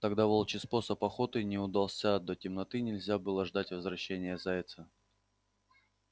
тогда волчий способ охоты не удался до темноты нельзя было ждать возвращения зайца